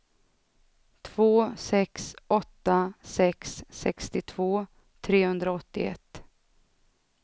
två sex åtta sex sextiotvå trehundraåttioett